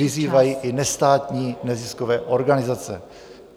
... vyzývají i nestátní neziskové organizace.